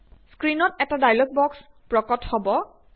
স্ক্ৰিণত এটা dialog box প্ৰকট হব